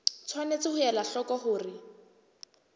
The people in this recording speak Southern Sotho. tshwanetse ho ela hloko hore